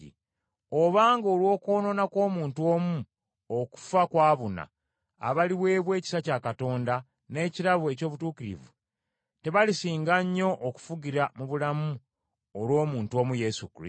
Obanga olw’okwonoona kw’omuntu omu okufa kwabuna, abaliweebwa ekisa kya Katonda n’ekirabo eky’obutuukirivu, tebalisinga nnyo okufugira mu bulamu olw’omuntu omu Yesu Kristo?